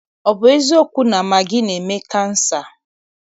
Ọ bụ eziokwu na magị na-eme kansa?